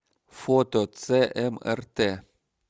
фото цмрт